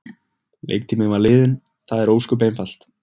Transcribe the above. Leiktíminn var liðinn, það er ósköp einfalt.